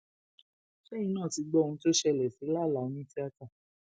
ṣẹyìn náà ti gbọ ohun tó ṣẹlẹ sí lálàá onítìátà